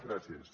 gràcies